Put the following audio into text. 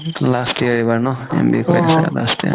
last year এবাৰ ন MBA fourth sem last year